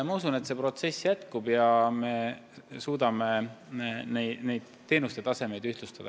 Ma usun, et see protsess jätkub ja me suudame teenuste taset ühtlustada.